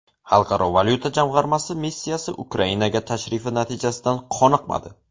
Xalqaro valyuta jamg‘armasi missiyasi Ukrainaga tashrifi natijasidan qoniqmadi.